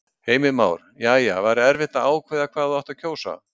Heimir Már: Jæja, var erfitt að ákveða hvað þú átt að kjósa?